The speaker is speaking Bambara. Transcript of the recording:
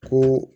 Ko